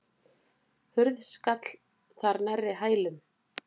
Hurð skall þar nærri hælum.